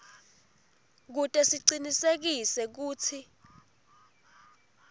kute sicinisekise kutsi